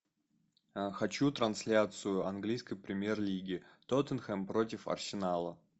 хочу трансляцию английской премьер лиги тоттенхэм против арсенала